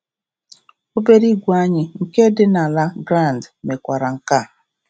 Obere igwe anyị nke dị na La Grande mekwara nke a.